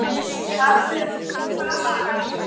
Af hverju ertu svona þrjóskur, Bergjón?